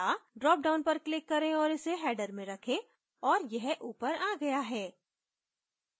drop down पर click करें और इसे header में रखें और यह ऊपर आ गया है